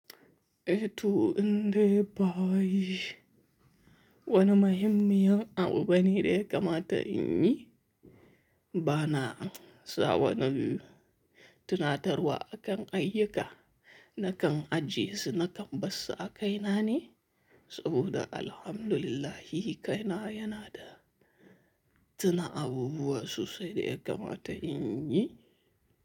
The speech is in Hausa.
Eh to, indai ba wai wani muhimmiyin abu bane da ya kamata in yi? Bana sa wannan tunatarwa akan ayyuka na kan ajiye su na kan barsu a kaina ne, saboda Alhamdulillah kaina yana da tuna abubuwa sosai da ya kamata in yi.